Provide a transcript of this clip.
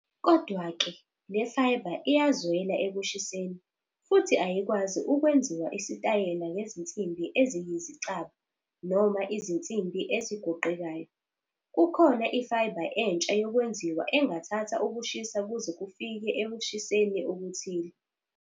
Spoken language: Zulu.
Kodwa-ke, le fiber iyazwela ekushiseni futhi ayikwazi ukwenziwa isitayela ngezinsimbi eziyizicaba noma izinsimbi ezigoqekayo. Kukhona i-fiber entsha yokwenziwa engathatha ukushisa kuze kufike ekushiseni okuthile.